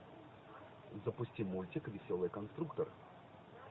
запусти мультик веселый конструктор